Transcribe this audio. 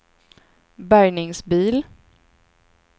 bärgningsbil